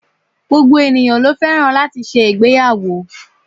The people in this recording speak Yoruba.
Gbogbo ènìyãn lo fẹ́ràn láti ṣe ìgbéyàwó